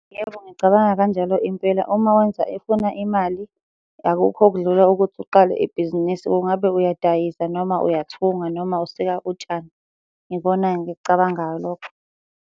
Yebo, ngicabanga kanjalo impela. Uma wenza efuna imali, akukho okudlula ukuthi uqale ibhizinisi. Kungabe uyadayisa noma uyathunga, noma usika utshani. Ikona-ke engikucabangayo lokho.